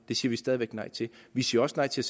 det siger vi stadig væk nej til vi siger også nej til